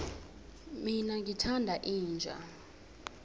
mina ngithanda inja